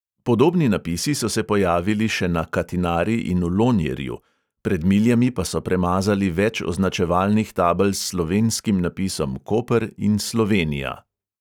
Podobni napisi so se pojavili še na katinari in v lonjerju, pred miljami pa so premazali več označevalnih tabel s slovenskim napisom koper in slovenija.